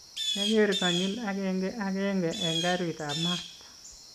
kiageer konyil agenge agenge eng' karitab maat